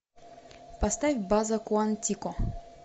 поставь база куантико